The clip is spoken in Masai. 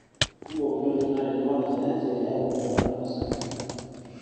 kumok intokitin naatejo wanasayansi eyau ekwetata osarge